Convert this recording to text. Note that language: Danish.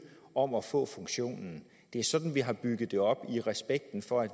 om at få den funktion det er sådan vi har bygget det op i respekten for det